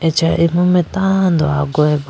acha imu mai tando agugayi ba.